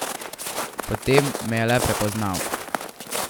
Potem me je le prepoznal.